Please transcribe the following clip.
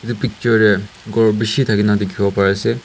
Etu picture te ghor beshi thaki na dekhibo pari ase.